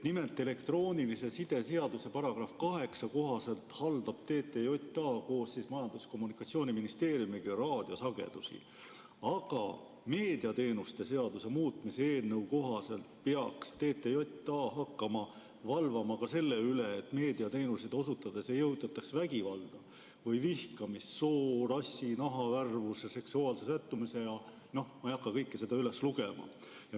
Nimelt, elektroonilise side seaduse § 8 kohaselt haldab TTJA koos Majandus- ja Kommunikatsiooniministeeriumiga raadiosagedusi, aga meediateenuste seaduse muutmise eelnõu kohaselt peaks TTJA hakkama valvama ka selle üle, et meediateenuseid osutades ei õhutataks vägivalda või vihkamist soost, rassist, nahavärvusest, seksuaalsest sättumusest ja noh, ma ei hakka kõike seda üles lugema.